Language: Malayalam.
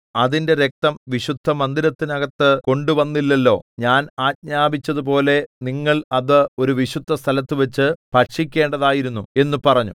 അതിന്റെ രക്തം വിശുദ്ധമന്ദിരത്തിനകത്തു കൊണ്ടുവന്നില്ലല്ലോ ഞാൻ ആജ്ഞാപിച്ചതുപോലെ നിങ്ങൾ അത് ഒരു വിശുദ്ധസ്ഥലത്തുവച്ചു ഭക്ഷിക്കേണ്ടതായിരുന്നു എന്നു പറഞ്ഞു